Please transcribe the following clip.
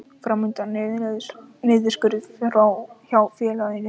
Fram undan er niðurskurður hjá félaginu